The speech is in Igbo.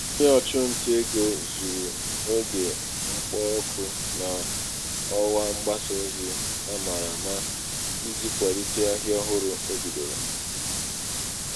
onye ọchụ nta ego zụrụ oge mkpọ oku n'ọwa mgbasa ozi a mara ama iji kwalite ahịa ọhụrụ o bidoro.